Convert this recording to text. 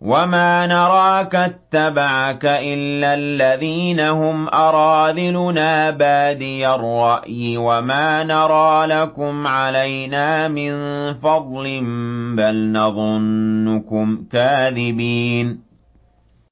وَمَا نَرَاكَ اتَّبَعَكَ إِلَّا الَّذِينَ هُمْ أَرَاذِلُنَا بَادِيَ الرَّأْيِ وَمَا نَرَىٰ لَكُمْ عَلَيْنَا مِن فَضْلٍ بَلْ نَظُنُّكُمْ كَاذِبِينَ